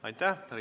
Aitäh!